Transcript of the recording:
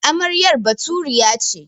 Amarya Baturiya ce.